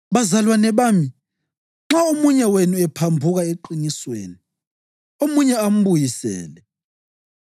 Bazalwane bami, nxa omunye wenu ephambuka eqinisweni, omunye ambuyisele,